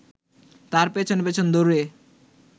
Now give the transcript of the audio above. তার পেছন পেছন দৌড়ে